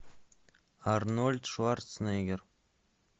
арнольд шварценеггер